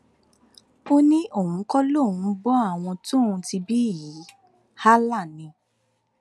ó ní òun kọ lòun ń bọ àwọn tóun ti bí yìí allah ni